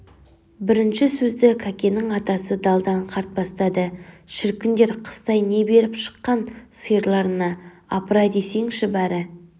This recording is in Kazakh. бірінші сөзді кәкеннің атасы далдан қарт бастады шіркіндер қыстай не беріп шыққан сиырларына апыр-ай десеңші бәрі